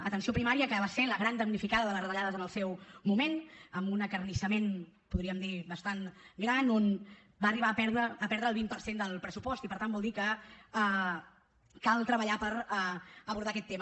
atenció primària que va ser la gran damnificada de les retallades en el seu moment amb un acarnissament podríem dir bastant gran on va arribar a perdre el vint per cent del pressupost i per tant vol dir que cal treballar per abordar aquest tema